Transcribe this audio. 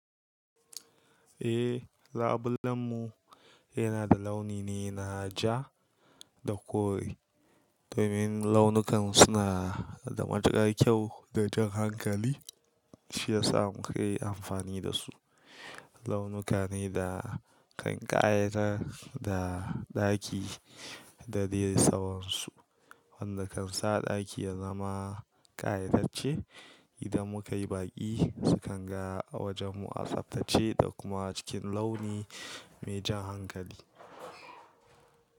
Eh, labulen mu yana da launi ne na ja da kore. Domin launukan suna da matukar kyau da jan hankali shiyasa muka yi amfani da su. Launuka ne da kan ƙayatar da ɗaki da dai tsawonsu wanda kan sa ɗaki ya zama ƙayatarce. Idan muka yi baƙi su kan ga a wajen mu a tsaftace da kuma cikin launi mai jan hankali.